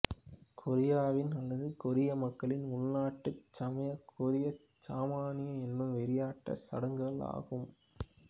கொரியாவின் அல்லது கொரிய மக்களின் உள்நாட்டுச் சமயம் கொரியச் சாமனியம் எனும் வெறியாட்டச் சடங்குகள் ஆகும்